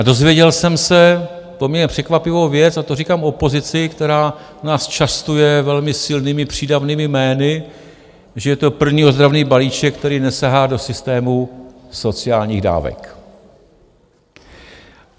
A dozvěděl jsem se poměrně překvapivou věc, a to říkám opozici, která nás častuje velmi silnými přídavnými jmény, že je to první ozdravný balíček, který nesahá do systému sociálních dávek.